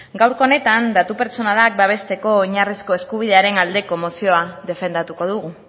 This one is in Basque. gaurkoa honetan datu pertsonalak babesteko oinarrizko eskubidearen aldeko mozioa defendatuko dugu